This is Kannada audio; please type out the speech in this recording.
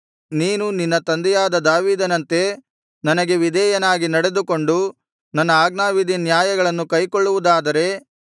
ನೀನು ನಿನ್ನ ತಂದೆಯಾದ ದಾವೀದನಂತೆ ನನಗೆ ವಿಧೇಯನಾಗಿ ನಡೆದುಕೊಂಡು ನನ್ನ ಆಜ್ಞಾವಿಧಿನ್ಯಾಯಗಳನ್ನು ಕೈಕೊಳ್ಳುವುದಾದರೆ